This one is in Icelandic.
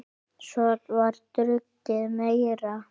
Svo var drukkið meira.